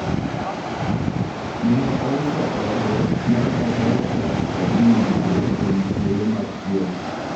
Neneousa ode ma odok dak kod min mare kuom thuolo machiek